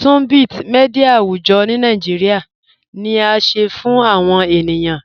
Tunbit, mídia àwùjọ̀ Nàìjíríà, ni à sẹ fun àwọn ènìyàn